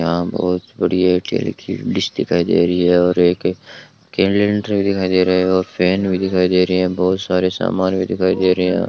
यहां बहोत बड़ी एयरटेल की डिश दिखाई दे रही है और एक कैलेंडर दिखाई दे रहा है और फैन भी दिखाई दे रही है बहोत सारे सामान भी दिखाई दे रहे हैं।